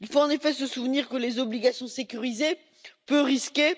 Il faut en effet se souvenir que les obligations sécurisées, peu risquées,